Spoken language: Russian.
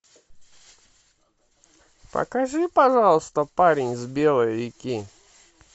покажи пожалуйста парень с белой реки